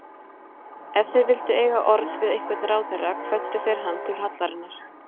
Ef þeir vildu eiga orð við einhvern ráðherra kvöddu þeir hann til hallarinnar.